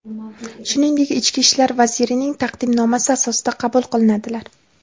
shuningdek ichki ishlar vazirining taqdimnomasi asosida qabul qilinadilar.